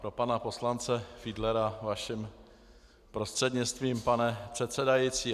Pro pana poslance Fiedlera vaším prostřednictvím, pane předsedající.